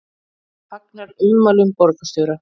Fagnar ummælum borgarstjóra